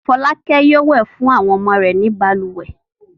Fọlákẹ́ yóò wẹ̀ fún àwọn ọmọ rẹ̀ nínú balùwẹ̀.